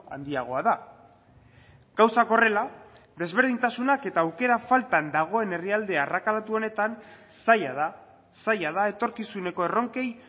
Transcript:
handiagoa da gauzak horrela desberdintasunak eta aukera faltan dagoen herrialde arrakalatu honetan zaila da zaila da etorkizuneko erronkei